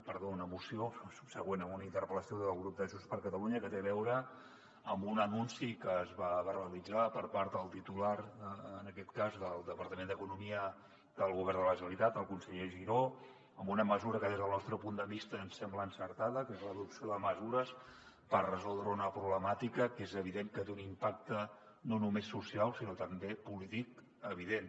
perdó una moció subsegüent a una interpel·lació del grup de junts per catalunya que té a veu·re amb un anunci que es va verbalitzar per part del titular en aquest cas del depar·tament d’economia del govern de la generalitat el conseller giró amb una mesura que des del nostre punt de vista ens sembla encertada que és l’adopció de mesures per resoldre una problemàtica que és evident que té un impacte no només social sinó també polític evident